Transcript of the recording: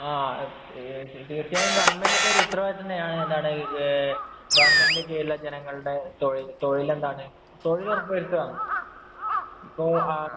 തീര്‍ച്ചയായും ഗവണ്മെന്‍റിന്‍റെ ഒരു ഉത്തരവാദിത്ത്വം തന്നെയാണ്. എന്താണ് ഗവണ്മെന്‍റിന്‍റെ കീഴിലെ ജനങ്ങളുടെ തൊഴില്‍ എന്താണ്? തൊഴിലുറപ്പ് വരുത്തുക.ഇപ്പൊ ആ